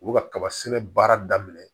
U bɛ kaba sɛnɛ baara daminɛ